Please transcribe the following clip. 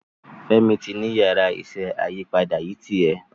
Femi tí ní Yàrá iṣẹ́ ayípadà yí tiè.